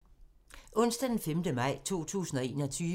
Onsdag d. 5. maj 2021